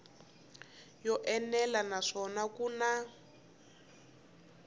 yo enela naswona ku na